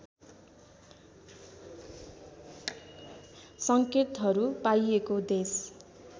सङ्केतहरू पाइएको देश